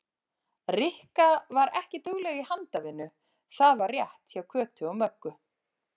Rikka var ekki dugleg í handavinnu, það var rétt hjá Kötu og Möggu.